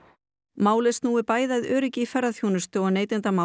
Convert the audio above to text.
málið snúi bæði að öryggi í ferðaþjónustu og neytendamálum